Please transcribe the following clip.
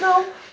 Não.